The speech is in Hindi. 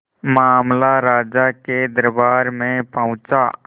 मामला राजा के दरबार में पहुंचा